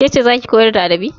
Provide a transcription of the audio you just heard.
Ke ce za ki koyar da adabi?